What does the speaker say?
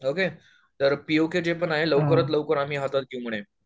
Okay तर PoK पण आहे लवकरात लवकर आम्ही हातात घेऊ म्हणे.